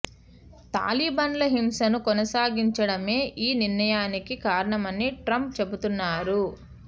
తాలిబాన్లు హింసను కొనసాగిం చడమే ఈ నిర్ణయానికి కారణమని ట్రంప్ చెబుతున్నారు